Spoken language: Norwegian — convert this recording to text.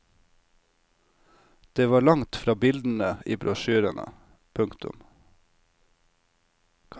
Det var langt fra bildene i brosjyrene. punktum